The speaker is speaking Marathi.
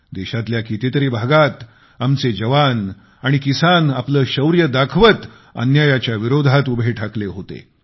देशातल्या कितीतरी भागात आमचे जवान आणि किसान आपले शौर्य दाखवत अन्यायाच्या विरोधात उभे ठाकले होते